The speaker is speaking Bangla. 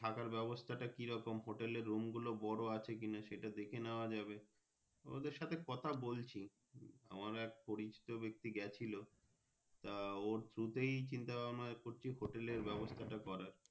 থাকার ব্যাবস্তা টা কিরকম Hotel এর Room গুলো বোরো আছে কি নাই সেটা দেখে নেওয়া যাবে ওদের সাথে কথা বলছি আমারও এক পরিচিত ব্যাক্তি গাছিল ওর Through তেই চিন্তা ভাবনাই করছি ভাবনা করছি Hotel এর ব্যাবস্তা টা করার।